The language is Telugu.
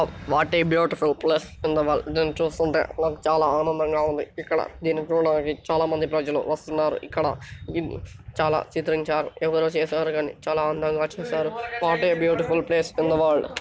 what a beautiful place in the world దీన్ని చూస్తుంటే చాలా ఆనందంగా ఉంది ఇక్కడ దీని గుండా వి-చాలా మంది ప్రజలు వస్తున్నారు ఇక్కడ చాలా ఎవరో చేసారు కానీ చాలా అందంగా చేసారు what a beautiful place in the world